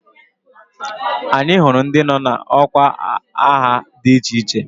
Anyị hụrụ ndị nọ n'ọkwa agha dị iche iche